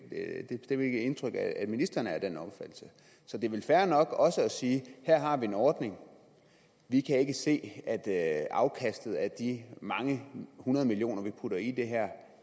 mit indtryk at ministeren er af den opfattelse så det er vel fair nok også at sige at her har vi en ordning og vi kan ikke se at at afkastet af de mange hundrede millioner kroner vi putter i det her